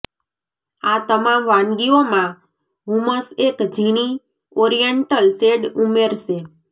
આ તમામ વાનગીઓમાં હૂમસ એક ઝીણી ઓરિએન્ટલ શેડ ઉમેરશે